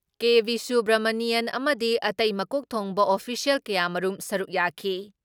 ꯀꯦ.ꯚꯤꯁꯨꯕ꯭ꯔꯥꯃꯅꯤꯌꯥꯟ ꯑꯃꯗꯤ ꯑꯇꯩ ꯃꯀꯣꯛ ꯊꯣꯡꯕ ꯑꯣꯐꯤꯁꯤꯌꯦꯜ ꯀꯌꯥꯃꯔꯨꯝ ꯁꯔꯨꯛ ꯌꯥꯈꯤ ꯫